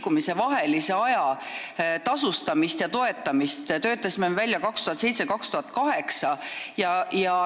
Laulupidude vahelisel ajal tasustamise ja toetamise põhimõtted töötasime me välja 2007 ja 2008.